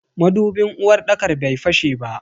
Madubin uwarɗakar bai fashe ba.